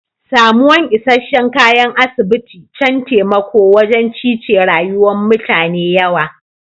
Samuwan isheshe'n kayan asibiti can taimako wajen cice rayuwa'n mutane yawa.